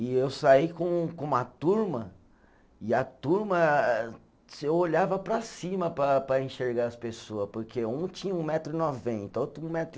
E eu saí com com uma turma, e a turma, eu olhava para cima para para enxergar as pessoa, porque um tinha um metro e noventa, outro um metro e